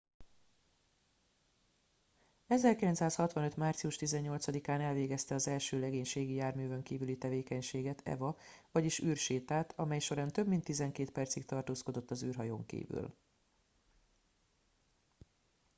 "1965. március 18-án elvégezte az első legénységi járművön kívüli tevékenységet eva vagyis "űrsétát" amej során több mint tizenkét percig tartózkodott az űrhajón kívül.